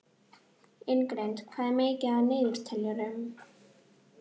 Ingrid, hvað er mikið eftir af niðurteljaranum?